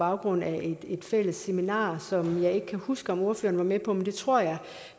baggrund af et fælles seminar som jeg ikke kan huske om ordføreren var med på men det tror jeg